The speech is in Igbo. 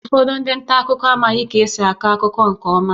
Ụfọdụ ndị nta akụkọ amaghị ka esi akọ akụkọ nke ọma